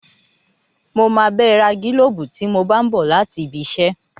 Mo máa bá ẹ ra gílóbù tí mo bá n bọ̀ láti ibi iṣẹ́